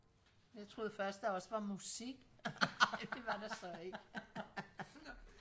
jeg troede først der også var musik det var der så ikke